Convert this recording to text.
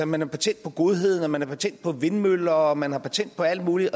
man har patent på godheden at man har patent på vindmøller at man har patent på alt muligt